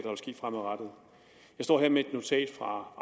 står her med et notat fra